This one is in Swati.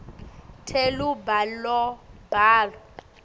telubalobalo